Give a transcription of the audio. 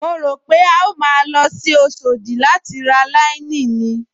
Mo rò pé a ó máa lọ sí Oṣòdì láti ra láíníìnì